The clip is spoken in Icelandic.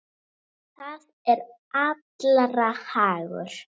Það er allra hagur.